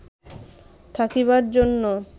থাকিবার জন্য